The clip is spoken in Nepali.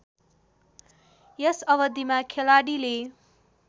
यस अवधिमा खेलाडीले